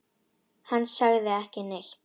Hann sagði ekki neitt.